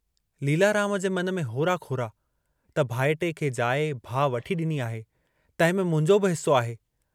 लीलाराम जे मन में होरा खोरा त भाइटिए खे जाइ भाउ वठी डिनी आहे, तंहिंमें मुंहिंजो बि हिस्सो आहे।